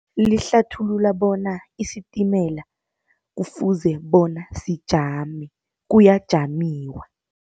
Lihlathulula bona isitimela kufuze bona sijame kuyajamiwa.